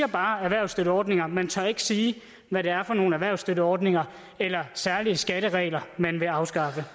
bare erhvervsstøtteordninger men man tør ikke sige hvad det er for nogle erhvervsstøtteordninger eller særlige skatteregler man vil afskaffe